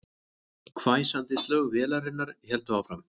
Hvæsandi slög vélarinnar héldu áfram